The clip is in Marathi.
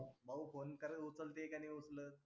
भाऊ phone करेल उचलते की नाही उचलत.